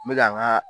N bɛ ka n ka